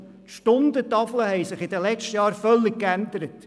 – Die Stundentafeln haben sich in den letzten Jahren völlig gewandelt: